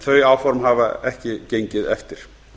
þau áform hafa ekki gengið eftir